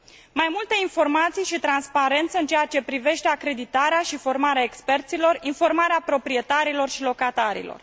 Mai multe informații și transparență în ceea ce privește acreditarea și formarea experților, informarea proprietarilor și a locatarilor.